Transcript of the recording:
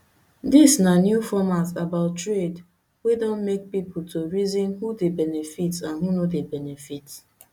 dis na new format about trade wey don make pipo to reason who dey benefit and who no dey benefit